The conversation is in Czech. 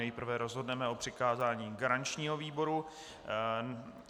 Nejprve rozhodneme o přikázání garančního výboru.